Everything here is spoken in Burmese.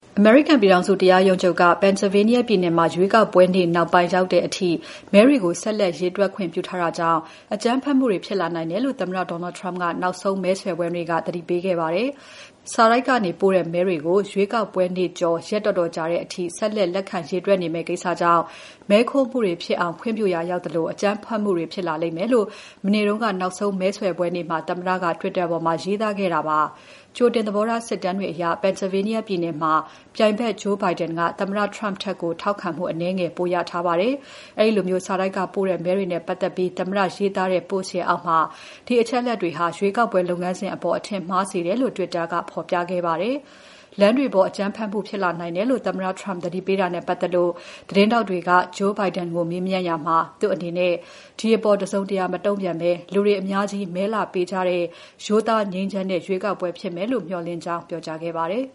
အမေရိကန်ပြည်ထောင်စု တရားရုံးချုပ်က Pennsylvania ပြည်နယ်မှာ ရွေးကောက်ပွဲနေ့ နောက်ပိုင်းအထိ ရောက်လာတဲ့မဲတွေကို ဆက်လက်ရေတွက်ခွင့်ပြုထားတာကြောင့် အကြမ်းဖက်မှုတွေ ဖြစ်လာနိုင်တယ်လို့ သမ္မတ Donald Trump က နောက်ဆုံးမဲဆွယ်ပွဲနေ့က သတိပေးခဲ့ပါတယ်။ စာတိုက်ကနေ ပို့တဲ့မဲတွေကို ရွေးကောက်ပွဲနေ့ကျော် ရက်တော်တော်ကြာတဲ့အထိ ဆက်လက်လက်ခံရေတွက်မယ့်ကိစ္စကြောင့် မဲခိုးမှုတွေဖြစ်အောင် ခွင့်ပြုရာရောက်သလို၊ အကြမ်းဖက်မှုတွေဖြစ်လာလိမ့်မယ်လို့ မနေ့က နောက်ဆုံးမဲဆွယ်ပွဲနေ့မှာ သမ္မတက Twitter ပေါ်မှာ ရေးသားခဲ့တာပါ။ ကြိုတင် သဘောထား စစ်တမ်းတွေအရ Pennsylvania ပြည်နယ်မှာ ပြိုင်ဘက် Joe Biden က သမ္မတ Trump ထက် ထောက်ခံမှု အနည်းငယ် ပိုရထားပါတယ်။ အဲဒီလို စာတိုက်ကပို့တဲ့ မဲတွေနဲ့ပတ်သက်ပြီး သမ္မတ ရေးသားတဲ့ Post အောက်မှာ ဒီအချက်တွေက ရွေးကောက်ပွဲလုပ်ငန်းစဉ်အပေါ် အထင်မှားစေတယ်လို့ Twitter ကဖော်ပြခဲ့ပါတယ်။ လမ်းတွေပေါ် အကြမ်းဖက်မှုတွေ ဖြစ်လာနိုင်တယ်လို့ သမ္မတ Trump သတိပေးတာနဲ့ ပတ်သက်လို့ သတင်းထောက်တွေက Joe Biden ကိုမေးမြန်းရာမှာ သူ့အနေနဲ့ ဒီအပေါ် တစုံတရာ မတုံ့ပြန်ဘဲ၊ လူတွေအများကြီး မဲလာပေးကြတဲ့ ရိုးသား ငြိမ်းချမ်းတဲ့ ရွေးကောက်ပွဲဖြစ်မယ်လို့ မေ ျှာ်လင့်ကြောင်း ပြောကြားခဲ့ပါတယ်